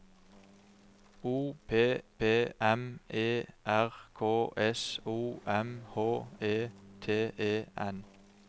O P P M E R K S O M H E T E N